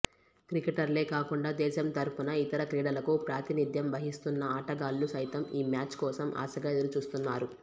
క్రికెటర్లే కాకుండా దేశం తరఫున ఇతర క్రీడలకు ప్రాతినిధ్యం వహిస్తున్న ఆటగాళ్లు సైతం ఈ మ్యాచ్ కోసం ఆశగా ఎదురుచూస్తున్నారు